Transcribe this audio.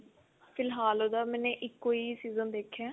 ਫਿਲਹਾਲ ਉਹਦਾ ਮੈਂਨੇ ਇੱਕੋ ਹੀ season ਦੇਖਿਆ